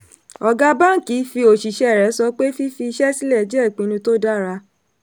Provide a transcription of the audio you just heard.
ọ̀gá báńkì fi òṣìsẹ́ rẹ̀ sọ pé fífi iṣẹ́ sílẹ̀ jẹ́ ipinnu tó dára.